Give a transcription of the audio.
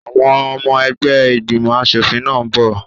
Àwọn ọmọ ẹgbẹ́ ìgbìmọ̀ aṣòfin náà n bọ̀